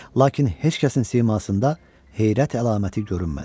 Lakin heç kəsin simasında heyrət əlaməti görünmədi.